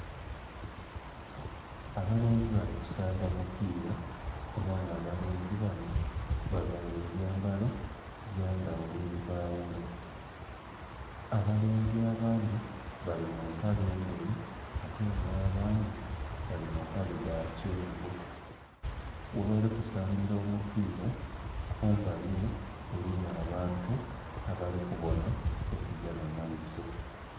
Abalenzi bali kusamaba mupira era nga abalenzi banho bavaire ebyambalo bya ndhaghulo ebibaghula, abalenzi abandhi bali mu maple ndheru ate nga abandhi bali mu maple dha kyenvu, ghebali kusambira omupira kumbali ere eriyo abantu abali kubonha ekigya mu maiso.